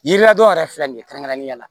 Yiri ladon yɛrɛ filɛ nin kɛrɛnkɛrɛnnen ya la